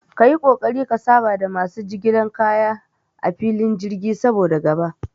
Kayi ƙoƙari ka saba da masu aikin jigilan kaya a filin jirgi, saboda gaba